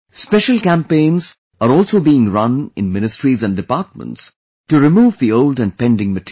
Special campaigns are also being run in ministries and departments to remove the old and pending material